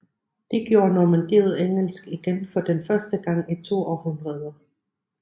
Det gjorde Normandiet engelsk igen for den første gang i to århundreder